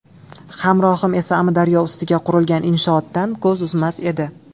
Hamrohim esa Amudaryo ustiga qurilgan inshootdan ko‘z uzmas edi.